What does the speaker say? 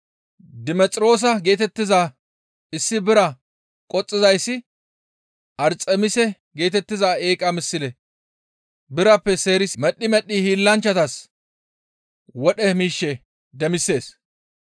Dimexiroosa geetettiza issi bira qoxxizayssi Arxemise geetettiza eeqa misle birappe seerisi medhdhi medhdhi hiillanchchatas wodhe miishshe demisees.